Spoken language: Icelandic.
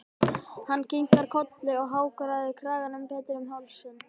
Hann kinkar bara kolli og hagræðir kraganum betur um hálsinn.